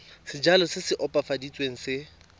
sejalo se se opafaditsweng se